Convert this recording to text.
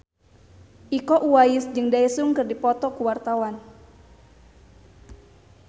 Iko Uwais jeung Daesung keur dipoto ku wartawan